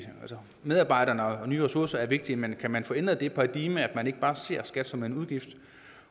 medarbejderne og nye ressourcer er vigtige men kan man få ændret det paradigme at man ikke bare ser skat som en udgift